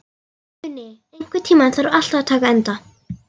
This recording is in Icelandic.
Uni, einhvern tímann þarf allt að taka enda.